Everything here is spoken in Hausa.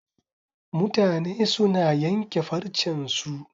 Mutane suna yanke farcen su